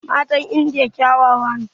Matan indiya kyawawa ne